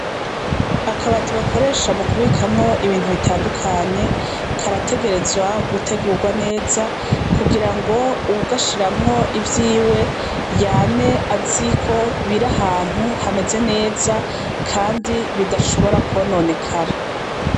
Akabati bakoresha mu kubikamwo ibintu bitandukanye karategerezwa gutegurwa neza kugira ngo uwugashiramwo ivyiwe yame aziko biri ahantu hameze neza, kandi bidashobora konone kara.